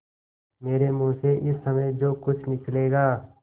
मेरे मुँह से इस समय जो कुछ निकलेगा